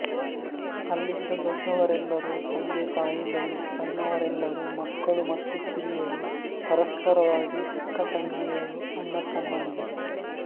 ಅಲ್ಲಿದ್ದ ದೊಡ್ಡವರೆಲ್ಲರೂ ತಂದೆತಾಯಿಗಳು ಸಣ್ಣವರೆಲ್ಲರೂ ಮಕ್ಕಳು ಮತ್ತು ಕಿರಿಯರು ಪರಸ್ಪರವಾಗಿ ಅಕ್ಕತಂಗಿಯರು ಅಣ್ಣತಮ್ಮಂದಿರು